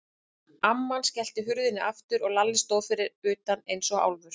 Amman skellti hurðinni aftur og Lalli stóð fyrir utan eins og álfur.